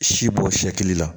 Si bɔ fiyɛli la